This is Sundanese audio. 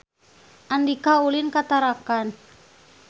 Andika ulin ka Tarakan